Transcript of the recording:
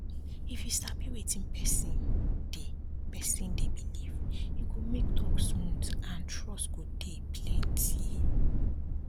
if you sabi wetin person dey person dey believe e go make talk smooth and trust go dey plenty